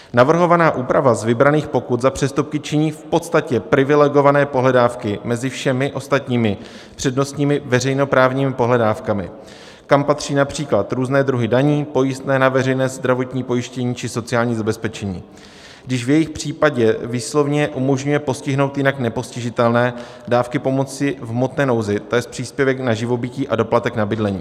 Navrhovaná úprava z vybraných pokut za přestupky činí v podstatě privilegované pohledávky mezi všemi ostatními přednostními veřejnoprávními pohledávkami, kam patří například různé druhy daní, pojistné na veřejné zdravotní pojištění či sociální zabezpečení, když v jejich případě výslovně umožňuje postihnout jinak nepostižitelné dávky pomoci v hmotné nouzi, to jest příspěvek na živobytí a doplatek na bydlení.